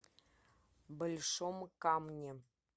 большом камне